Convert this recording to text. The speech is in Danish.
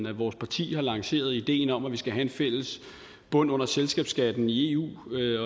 at vores parti har lanceret ideen om at vi skal have en fælles bund under selskabsskatten i eu